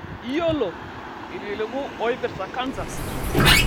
Iyiolo, ilkiliku oipirta kansa?